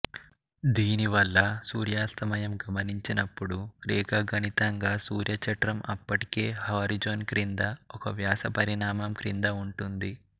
దీని వల్ల సూర్యాస్తమయం గమనించినప్పుడు రేఖాగణితంగా సూర్య చట్రం అప్పటికే హోరిజోన్ క్రింద ఒక వ్యాసం పరిమాణం క్రింద ఉంటుంది